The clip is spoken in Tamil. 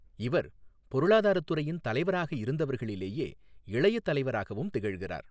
இவர் பொருளாதாரத் துறையின் தலைவராக இருந்தவர்களிலேயே இளைய தலைவராகவும் திகழ்கிறார்.